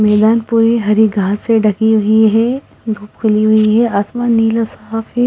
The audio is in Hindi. मैदान पूरी हरी घास से ढकी हुई है खुली हुई है आसमान नीला --